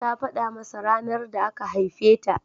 Ta faɗa masa ranar da aka haife ta.